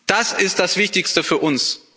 Das ist das wichtigste für uns.